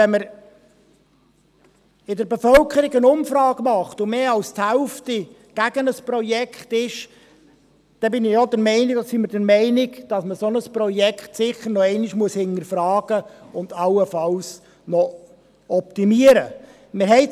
Wenn man aber in der Bevölkerung eine Umfrage macht und mehr als die Hälfte gegen ein Projekt ist, sind wir der Meinung, dass man ein solches Projekt sicher nochmals hinterfragen und allenfalls noch optimieren muss.